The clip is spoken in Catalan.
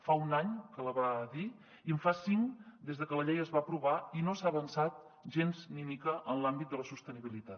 fa un any que la va dir i en fa cinc des de que la llei es va aprovar i no s’ha avançat gens ni mica en l’àmbit de la sostenibilitat